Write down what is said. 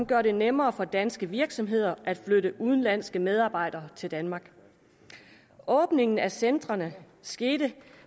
gøre det nemmere for danske virksomheder at flytte udenlandske medarbejdere til danmark åbningen af centrene skete